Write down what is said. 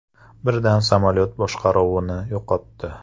Birdan samolyot boshqaruvni yo‘qotdi.